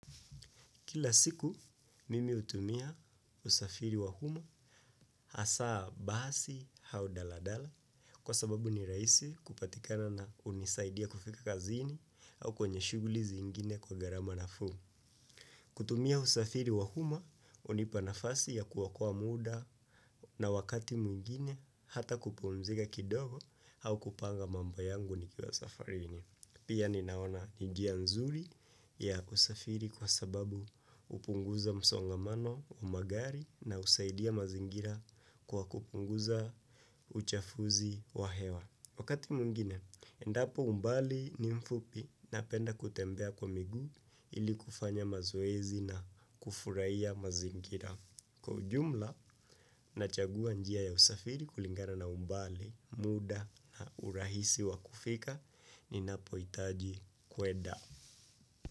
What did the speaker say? Kila siku, mimi hutumia usafiri wa umma hasa basi au daladala kwa sababu ni rahisi kupatikana na hunisaidia kufika kazini au kwenye shughuli zingine kwa gharama nafuu. Kutumia usafiri wa umma hunipa nafasi ya kuokoa muda na wakati mwingine hata kupumzika kidogo au kupanga mambo yangu nikiwa safarini. Pia ninaona ni njia nzuri ya usafiri kwa sababu hupunguza msongamano wa magari na husaidia mazingira kwa kupunguza uchafuzi wa hewa. Wakati mwingine, endapo umbali ni mfupi napenda kutembea kwa miguu ili kufanya mazoezi na kufurahia mazingira. Kwa ujumla nachagua njia ya usafiri kulingana na umbali, muda na urahisi wa kufika ninapohitaji kwenda.